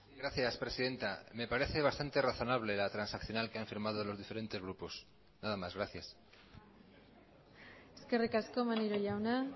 gracias presidenta me parece bastante razonable la transaccional que han firmado los diferentes grupos nada más gracias eskerrik asko maneiro jauna